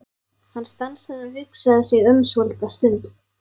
Hann stansaði og hugsaði sig um svolitla stund.